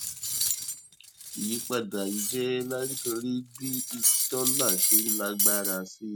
ìyípadà yìí jẹ nítorí bí dólà ṣe ń lágbára sí i